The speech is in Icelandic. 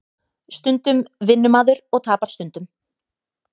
Stundum vinnur maður og tapar stundum